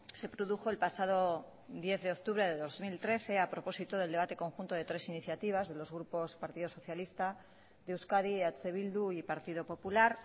se produjo el pasado diez de octubre de dos mil trece a propósito del debate conjunto de tres iniciativas de los grupos partido socialista de euskadi eh bildu y partido popular